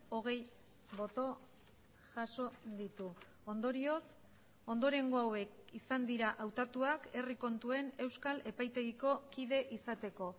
hogei boto jaso ditu ondorioz ondorengo hauek izan dira hautatuak herri kontuen euskal epaitegiko kide izateko